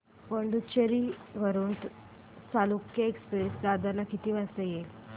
पुडूचेरी वरून चालुक्य एक्सप्रेस दादर ला किती वाजता येते